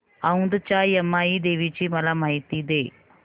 औंधच्या यमाई देवीची मला माहिती दे